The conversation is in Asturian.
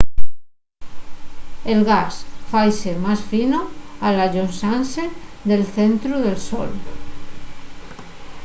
el gas faise más fino al allonxase del centru del sol